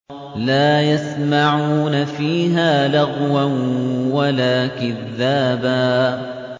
لَّا يَسْمَعُونَ فِيهَا لَغْوًا وَلَا كِذَّابًا